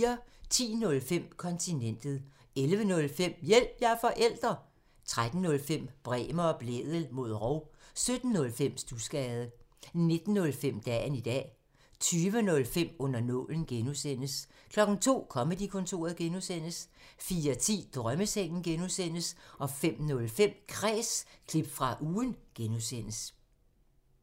10:05: Kontinentet 11:05: Hjælp – jeg er forælder! 13:05: Bremer og Blædel mod rov 17:05: Studsgade 19:05: Dagen i dag 20:05: Under nålen (G) 02:00: Comedy-kontoret (G) 04:10: Drømmesengen (G) 05:05: Kræs – klip fra ugen (G)